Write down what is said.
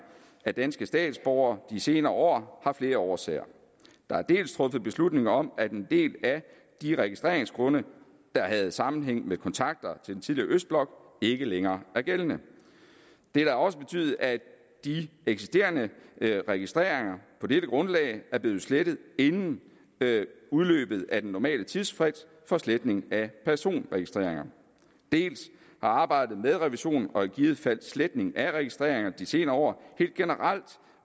af danske statsborger de senere år har flere årsager der er dels truffet beslutninger om at en del af de registreringsgrunde der havde sammenhæng med kontakter til den tidligere østblok ikke længere er gældende det har også betydet at de eksisterende registreringer på dette grundlag er blevet slettet inden udløbet af den normale tidsfrist for sletning af personregistreringer dels har arbejdet med revisionen og i givet fald sletning af registreringer de senere år helt generelt